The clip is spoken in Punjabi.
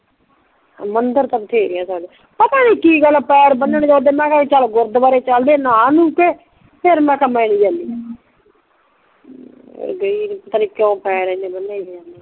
ਮੰਦਰ ਤਾਂ ਬਥੇਰੇ ਜਾਂਦਾ ਪਤਾ ਨੀ ਗੱਲ ਪੈਰ ਬਣਨ ਜੇ ਓਦਾਂ ਮੈਂ ਕਿਹਾ ਕੇ ਗੁਰਦੂਵਾਰੇ ਚੱਲਦੇ ਨਹਾ ਨੂ ਕੇ ਫੇਰ ਮੈਂ ਕਿਹਾ ਮੈਂ ਨਹੀਂ ਜਾਂਦੀ ਗਈ ਨਹੀਂ ਪਤਾ ਨਹੀਂ ਕਿਉ ਪੈ ਰਿਹੰਦੇ ਬਣਨ ਜੇ